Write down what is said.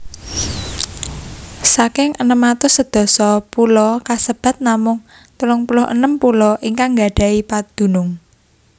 Saking enem atus sedasa pulo kasebat namung 36 pulo ingkang nggadhahi padunung